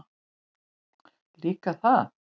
Líka það.